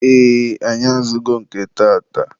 ee, anyị azụgo nke taata.